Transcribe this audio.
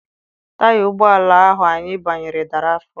Taya ụgbọala ahụ anyị banyere dara afọ.